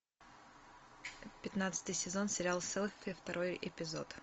пятнадцатый сезон сериал селфи второй эпизод